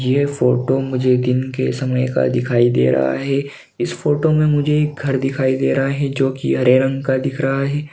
यह फोटो मुझे दिन के समय का दिखाई दे रहा है इस फोटो मे मुझे एक घर दिखाई दे रहा है जोकि हरे रंग का दिख रहा है।